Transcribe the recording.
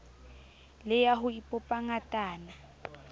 le ya ho ipopa ngatana